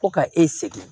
Ko ka e sɛgɛn